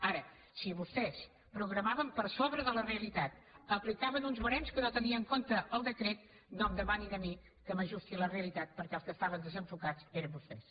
ara si vostès programaven per sobre de la realitat i aplicaven uns barems que no tenien en compte el decret no em demanin a mi que m’ajusti a la realitat perquè els que estaven desenfocats eren vostès